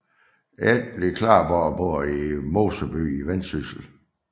Etly Klarborg bor i Moseby i Vendsyssel